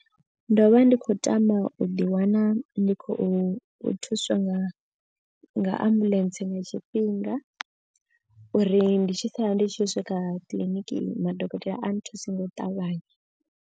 Ndo vha ndi khou tama u ḓi wana ndi khou thuswa nga nga ambuḽentse nga tshifhinga. Uri ndi tshi sala ndi tshi swika kiḽiniki madokotela a nthuse nga u ṱavhanya.